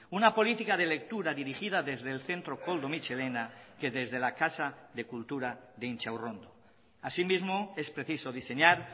una política de lectura dirigida desde el centro koldo mitxelena que desde la casa de cultura de intxaurrondo asimismo es preciso diseñar